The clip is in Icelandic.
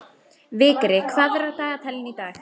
Vigri, hvað er á dagatalinu í dag?